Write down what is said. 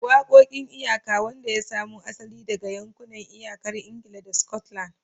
Waƙoƙin iyaka, wanda ya samo asali daga yankunan iyakar Ingila da Scotland.